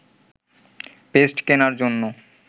paste কেনার জন্য